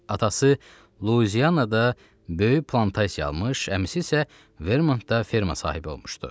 Atası Luiziyaada böyük plantasiya almış, əmisi isə Vermontda ferma sahibi olmuşdu.